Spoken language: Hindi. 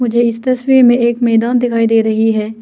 मुझे इस तस्वीर में एक मैदान दिखाई दे रही है।